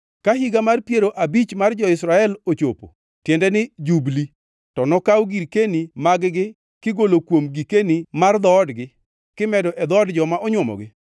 Ka Higa mar Piero Abich mar jo-Israel ochopo (tiende ni Jubli), to nokaw girkeni mag-gi kigolo kuom gikeni mar dhoodgi kimedo e dhood joma onywomogi.”